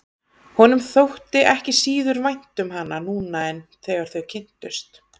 Honum þótti ekki síður vænt um hana núna en þegar þau kynntust.